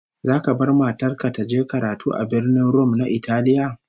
Zaka bar matar ka ta je karatu a Birnin Rum na Italiya?